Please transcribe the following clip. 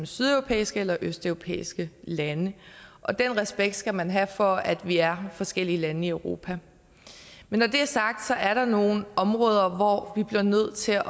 sydeuropæiske eller østeuropæiske lande og den respekt skal man have for at vi er forskellige lande i europa men når det er sagt er der nogle områder hvor vi bliver nødt til at